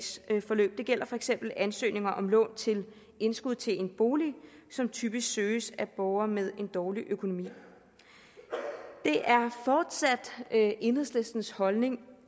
sagsforløb det gælder for eksempel ansøgninger om lån til indskud til en bolig som typisk søges af borgere med en dårlig økonomi det er fortsat enhedslistens holdning